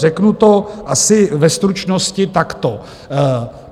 Řeknu to asi ve stručnosti takto.